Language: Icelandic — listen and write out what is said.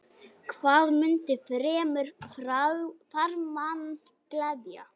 Hvað mundi fremur farmann gleðja?